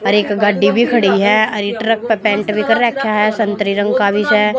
और एक गड्डी भी खड़ी है और ये ट्रक पर पेंट भी कर रखा है शंतरी रंग का है।